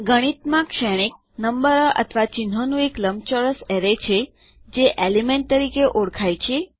ગણિતમાં શ્રેણીક નંબરો અથવા ચિહ્નોનું એક લંબચોરસ અરે છે જે એલિમેન્ટ તરીકે ઓળખાય છે